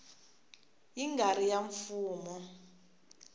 yi nga ri ya mfumo